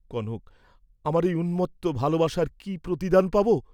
কনক আমার এই উন্মত্ত ভালবাসার কি প্রতিদান পাব?